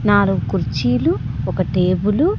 నాలుగు కుర్చీలు ఒక టేబులు .